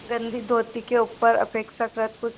गंदी धोती के ऊपर अपेक्षाकृत कुछ